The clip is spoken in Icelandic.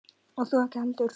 Og þú ekki heldur.